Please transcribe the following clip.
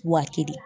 Waati de